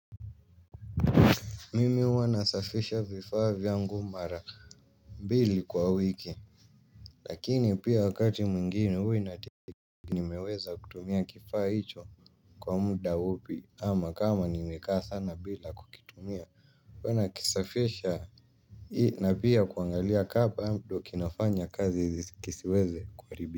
Mimi huwa nasafisha vifaa vyangu mara mbili kwa wiki lakini pia wakati mwingine huwa inategemea nimeweza kutumia kifaa hicho kwa muda upi ama kama nimekaa sana bila kukitumia huwa nakisafisha ili na pia kuangalia ka bado kinafanya kazi kisiweze kuharibika.